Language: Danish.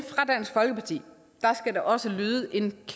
der skal også lyde en